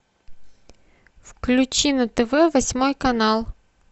включи на тв восьмой канал